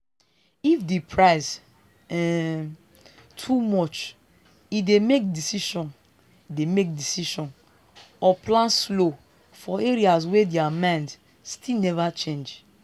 if the price um too much e dey make decision dey make decision or plan slow for areas wey their mind still never change.